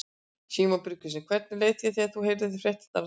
Símon Birgisson: Hvernig leið þér þegar þú heyrðir fréttirnar af þessu?